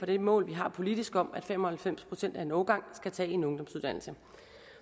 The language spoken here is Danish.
det mål vi har politisk om at fem og halvfems procent af en årgang skal tage en ungdomsuddannelse